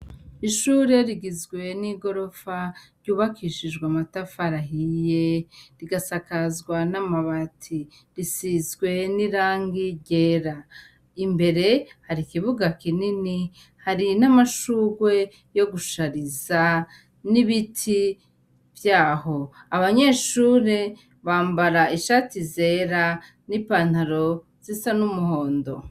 Ishure rigizwe n'i gorofa ryubakishijwe amatafuarahiye rigasakazwa n'amabati risizwe n'irangi ryera, imbere hari ikibuga kinini hari n'amashurwe yo gushariza n'ibiti vyaho, abanya neshure bambara ishati zera n'ipantaro z'isa n'umuhondo.